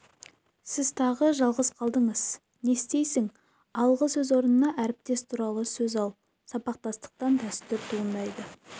сіз тағы жалғыз қалдыңыз не істейсің алғы сөз орнына әріптес туралы сөз ал сабақтастықтан дәстүр туындайды